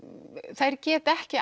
þær geta ekki